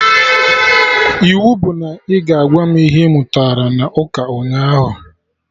Iwu bụ na ị ga-agwa m ihe ị mụtara na ụka ụnyaahụ!